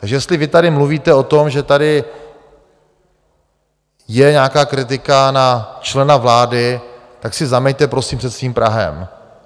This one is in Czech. Takže jestli vy tady mluvíte o tom, že tady je nějaká kritika na člena vlády, tak si zameťte prosím před svým prahem.